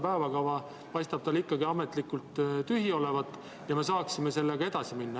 Päevakava paistab tal ikkagi ametlikult tühi olevat ja me saaksime edasi minna.